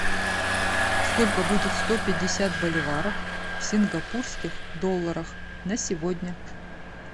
сколько будет сто пятьдесят боливаров в сингапурских долларах на сегодня